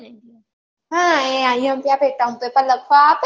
હા એ IMP એ કામ કરતાં લખવાં આપે